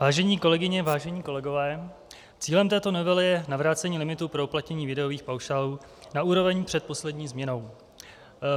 Vážené kolegyně, vážení kolegové, cílem této novely je navrácení limitů pro uplatnění výdajových paušálů na úroveň před poslední změnou.